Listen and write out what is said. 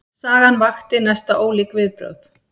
Sagan vakti næsta ólík viðbrögð.